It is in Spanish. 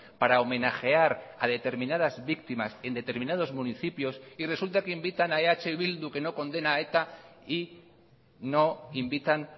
para homenajear a determinadas víctimas en determinados municipios y resulta que invitan a eh bildu que no condena a eta y no invitan